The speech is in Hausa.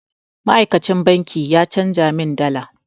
Ma'aikacin banki ya canja min dala.